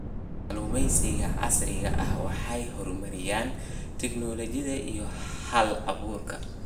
Kalluumaysiga casriga ahi waxa ay horumariyaan tignoolajiyada iyo hal-abuurka.